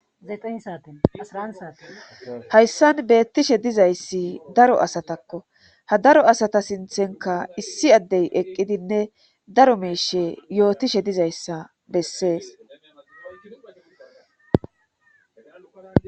Aa hayssan beettishe dizayssi daro asatakko ha daro asata sinthenka issi addey eqqidinne daro meeshe yootishe dizayssa bessees.